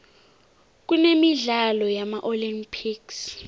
kunemidlalo yama olympics